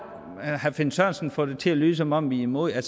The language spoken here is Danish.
finn sørensen får det til at lyde som om vi er imod det